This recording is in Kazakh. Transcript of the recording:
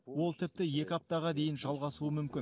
ол тіпті екі аптаға дейін жалғасуы мүмкін